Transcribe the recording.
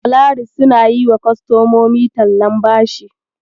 Polaris suna yiwa kostomomi tallan bashi.